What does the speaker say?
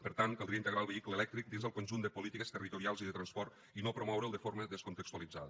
per tant caldria integrar lo vehicle elèctric dins del conjunt de polítiques territorials i de transport i no promoure’l de forma descontextualitzada